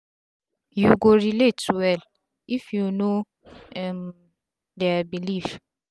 you go relate well if u know um dia belief